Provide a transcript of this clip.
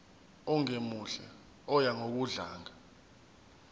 ongemuhle oya ngokudlanga